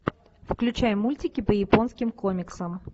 включай мультики по японским комиксам